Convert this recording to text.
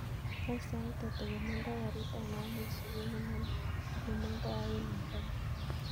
Wany sait ata yemondo garit ab maat neisubu nemondo en nairobi